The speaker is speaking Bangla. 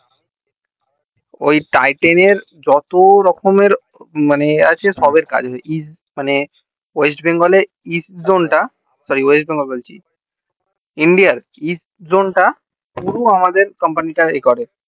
ওই tighten এর যত রকম এর মানে এ আছে মানে west bengal এর east zone টা sorry west bengal বলছি India র east zone টা শুধু আমাদের company এ করে